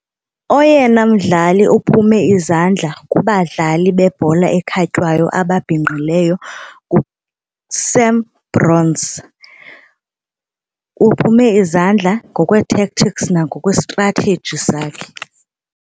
Oyena mdlali uphume izandla kubadlali bebhola ekhatywayo ababhinqileyo nguSam Bronze. Uphume izandla ngokwee-tactics nangokwe-strategy sakhe.